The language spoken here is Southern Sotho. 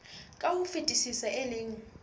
ka ho fetisisa e leng